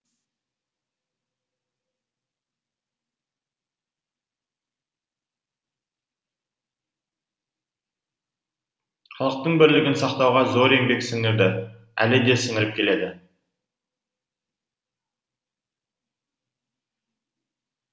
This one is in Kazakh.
халықтың бірлігін сақтауға зор еңбек сіңірді әлі де сіңіріп келеді